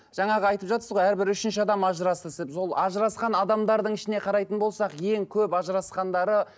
жаңағы айтып жатсыз ғой әрбір үшінші адам ажырасты деп сол ажырасқан адамдардың ішіне қарайтын болсақ ең көп ажырасқандары